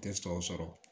Tɛ sɔ sɔrɔ